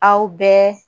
Aw bɛɛ